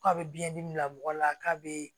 K'a bɛ biyɛn dimi bila mɔgɔ la k'a bɛ